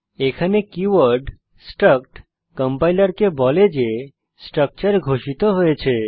এখানে keyword struct কম্পাইলারকে বলে যে স্ট্রাকচার ঘোষিত হয়েছে